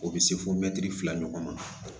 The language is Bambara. O bɛ se fɔ mɛtiri fila ɲɔgɔnna